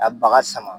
Ka baga sama